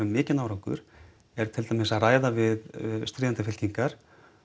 mikinn árangur er til dæmis að ræða við stríðandi fylkingar